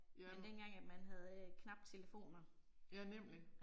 Ja. Ja nemlig